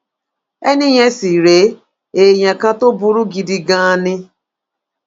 ẹni yẹn sì rèé èèyàn kan tó burú gidi ganan ni